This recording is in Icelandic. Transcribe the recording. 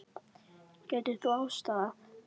Getur þú aðstoðað?